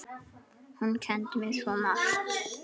Hún kenndi mér svo margt.